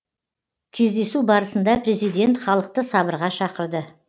кездесу барысында президент халықты сабырға шақырды